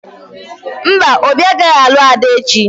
Mba, Obi agaghị alụ Ada echi